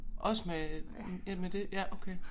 Også med øh med det ja okay